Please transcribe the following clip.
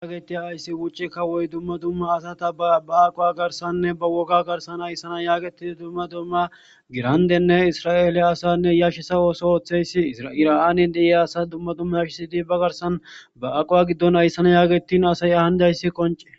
Hayissa bettiya wucce kawuwoyi duma duma ba aqa garisanine baa wogga garissani ayissana yagetidi duma duma gidi irannene iraraele assa ayissana yashiso osso othishe deyisi iraneni dyiya asa duma duma yashisidi ba aqawa garisani yegetidayisi qonce.